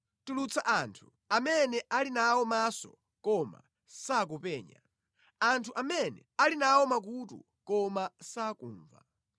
Tulutsa anthu amene ali nawo maso koma sakupenya, anthu amene ali nawo makutu koma sakumva.